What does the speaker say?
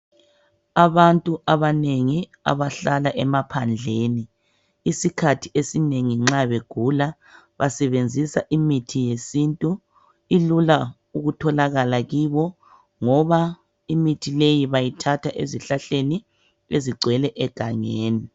Abantu abanengi abahlala emaphandleni isikhathi esinengi nxa begula basebenzisa imithi yesintu ilula ukutholakala kibo ngoba imithi leyi bayithatha ezihlahleni ezigcwele egangeni.